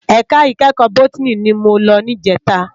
Èká ikèékò bótìní ni mó lò nijètá